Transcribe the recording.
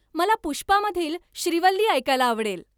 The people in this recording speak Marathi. मला पुष्पामधील श्रीवल्ली ऐकायला आवडेल